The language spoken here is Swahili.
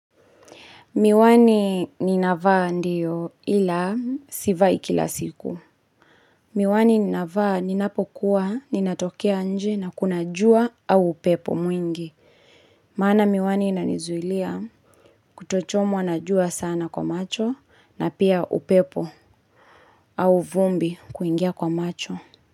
Miwani ninavaa ndiyo ila sivai kila siku. Miwani ninavaa ninapokuwa ninatokea nje na kuna jua au upepo mwingi. Maana miwani inanizuilia kutochomwa na jua sana kwa macho na pia upepo au vumbi kuingia kwa macho.